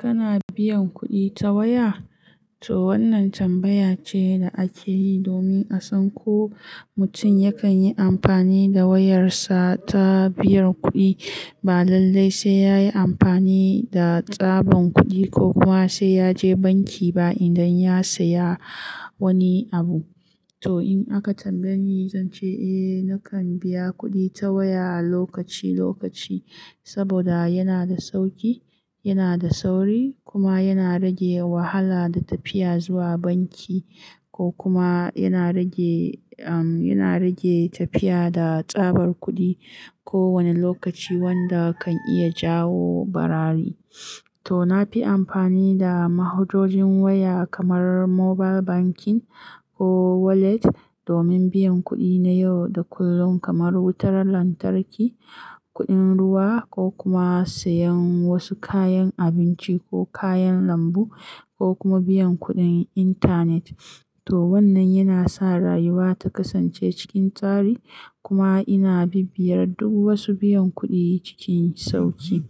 Kana biyan kuɗi ta waya? To wannan tambaya ce da ake yi domin a san ko mutum yakan yi amfani da wayarsa ta biyan kuɗi, ba lallai sai ya yi amfani da tsaban kuɗi ko kuma sai ya je banki ba, idan ya saya wani abu. To in aka tambaye ni, zan ce eh, nakan biya kuɗi ta waya lokaci lokaci, saboda yana da sauƙi, yana da sauri, kuma yana rage wahala da tafiya zuwa banki. Ko kuma yana rage umm, yana rage tafiya da tsabar kuɗi, kowane lokaci wanda kan iya jawo barari. To na fi amfani da mahujojin waya, kamar mobile banking, ko wallet, domin biyan kuɗi na yau da kullun, kamar wutar lantarki, kuɗin ruwa, ko kuma sayan wasu kayan abinci ko kayan lambu, ko kuma biyan kuɗin intanet. To wannan yana sa rayuwa ta kasance cikin tsari, kuma ina bibiyar duk wasu biyan kuɗi cikin sauƙi.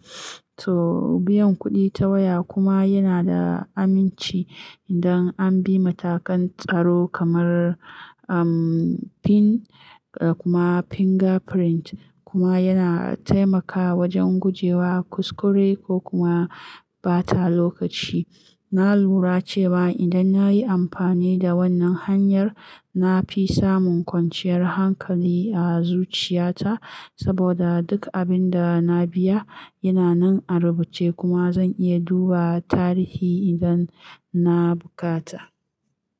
To, biyan kuɗi ta waya kuma yana da aminci, idan an bi matakan tsaro kamar umm, pin da kuma fingerprint, kuma yana taimaka wajen gujewa kuskure, ko kuma ɓata lokaci. Na lura cewa idan na yi amfani da wannan hanyar, na fi samun kwanciyar hankali a zuciyata, saboda duk abin da na biya, yana nan a rubuce, kuma zan iya duba tarihi idan na bukata.